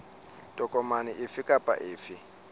tokomane efe kapa efe e